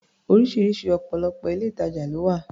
Oríṣiríṣi ọ̀pọ̀lọpọ̀ ilé-ìtajà ló wà